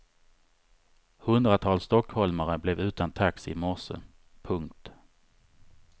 Hundratals stockholmare blev utan taxi i morse. punkt